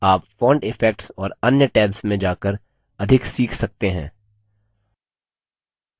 आप font effects और अन्य tabs में जाकर अधिक सीख सकते हैं